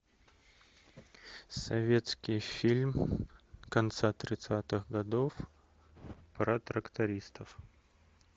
советский фильм конца тридцатых годов про трактористов